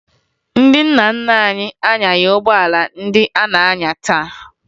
Ndị nna nna anyị anyaghị ụgbọala ndị a na-anya taa